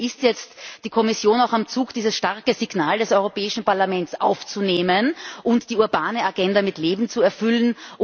Das heißt, hier ist jetzt die Kommission auch am Zug, dieses starke Signal des Europäischen Parlaments aufzunehmen und die urbane Agenda mit Leben zu erfüllen.